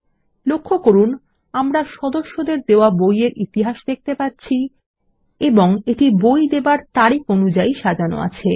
লক্ষ্য করুন আমরা সদস্যদের দেওয়া বই য়ের ইতিহাস দেখতে পাচ্ছি এবং এটি বই দেবার তারিখ অনুযায়ী সাজানো আছে